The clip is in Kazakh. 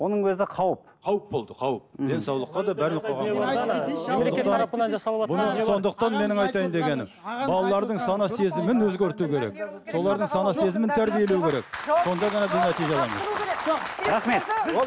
оның өзі қауіп қауіп болды қауіп денсаулыққа сондықтан менің айтайын дегенім балалардың сана сезімін өзгерту керек солардың сана сезмін тәрбиелеу керек сонда ғана